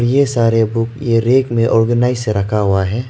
ये सारे बुक ये रैक में ऑर्गनाइज से रखा हुआ है।